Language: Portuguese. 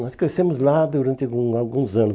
Nós crescemos lá durante algum alguns anos.